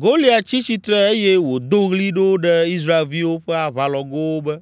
Goliat tsi tsitre eye wòdo ɣli ɖo ɖe Israelviwo ƒe aʋalɔgowo be,